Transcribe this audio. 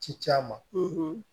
Ci c'a ma